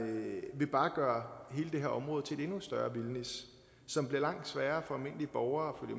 vil bare gøre hele det her område til et endnu større vildnis som bliver langt sværere for almindelige borgere at